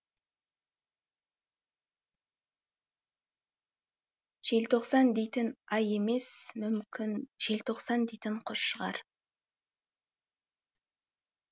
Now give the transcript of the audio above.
желтоқсан дейтін ай емес мүмкін желтоқсан дейтін құс шығар